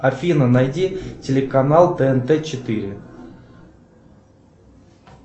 афина найди телеканал тнт четыре